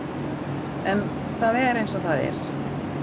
En það er eins og það er.